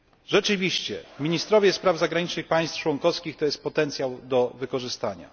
Rzeczywiście ministrowie spraw zagranicznych państw członkowskich stanowią potencjał do wykorzystania.